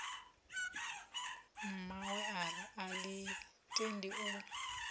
mmawe a ḽi tendi u